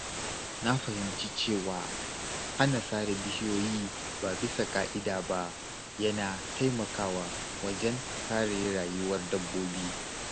Na fahimci cewa hana sare bishiyoyi ba bisa ƙa'ida ba yana taimakawa wajen kare rayuwar dabbobi.